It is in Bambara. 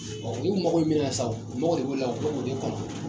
u mago bɛ min na sa o o mago de b'u la u bɛ k'o de kɔnɔ.